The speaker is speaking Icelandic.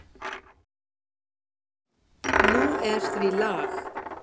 Nú er því lag.